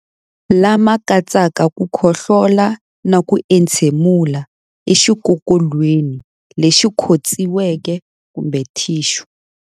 Lama katsaka ku khohlola na ku entshemulela exikokolweni lexi khotsiweke kumbe thixu.